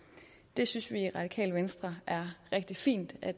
det synes vi i radikale venstre er rigtig fint at